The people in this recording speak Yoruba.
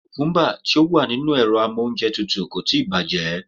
Kùkúmbà tí ó wà nínú amóúnjẹtutù kò tíì bàjẹ́.